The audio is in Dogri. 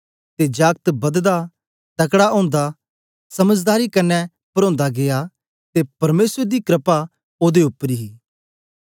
ते जागत बददा तकड़ा ओंदा समझदारी कन्ने परोंदा गीया ते परमेसर दी क्रपा ओदे उपर ही